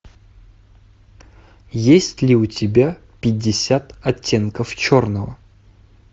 есть ли у тебя пятьдесят оттенков черного